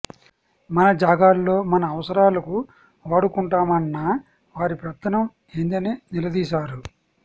మన జాగాల్లో మన అవసరాలకు వాడుకుంటామన్న వారి పెత్తనం ఏందని నిలదీశారు